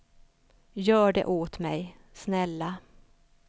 Gör det åt mig, snälla.